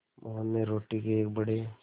मोहन ने रोटी के एक बड़े